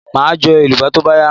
Maa jo elubo to ba ya